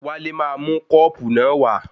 Wálé máa mú kọ́ọ̀pù náà wá.